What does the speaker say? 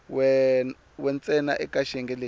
we ntsena eka xiyenge lexi